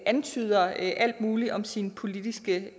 antyder alt muligt om sine politiske